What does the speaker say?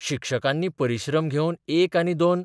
शिक्षकांनी परिश्रम घेवन एक आनी दोन